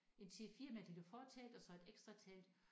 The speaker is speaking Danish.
En til 4 med et lille fortelt og så et ekstra telt